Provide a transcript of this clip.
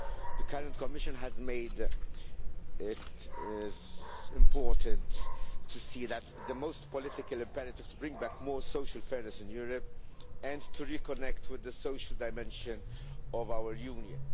The current Commission has made it important to see that it is the most political imperative to bring back more social fairness in Europe and to reconnect with the social dimension of our Union.